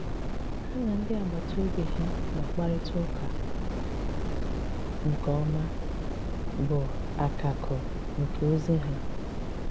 Hà na ndị agbàtà òbì ha na-àkparịta ụ̀kà nke òmá bụ̀ àkàkụ̀ nke ozi ha.